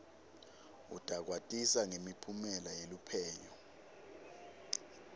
utakwatisa ngemiphumela yeluphenyo